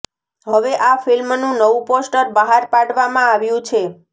હવે આ ફિલ્મનું નવું પોસ્ટર બહાર પાડવામાં આવ્યું છે